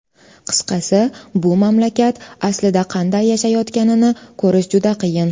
Qisqasi, bu mamlakat aslida qanday yashayotganini ko‘rish juda qiyin.